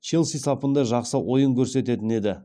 челси сапында жақсы ойын көрсететін еді